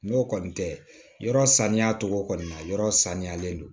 N'o kɔni tɛ yɔrɔ saniya cogo kɔni na yɔrɔ saniyalen don